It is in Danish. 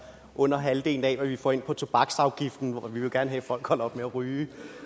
under halvdelen af hvad vi får ind på tobaksafgiften og vi vil jo gerne have at folk holder op med at ryge